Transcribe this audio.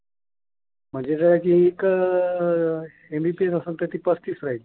mbps असेल तर ती पस्तीस राहील.